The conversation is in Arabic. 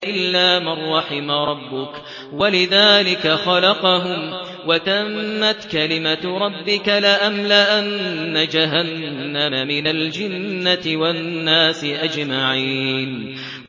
إِلَّا مَن رَّحِمَ رَبُّكَ ۚ وَلِذَٰلِكَ خَلَقَهُمْ ۗ وَتَمَّتْ كَلِمَةُ رَبِّكَ لَأَمْلَأَنَّ جَهَنَّمَ مِنَ الْجِنَّةِ وَالنَّاسِ أَجْمَعِينَ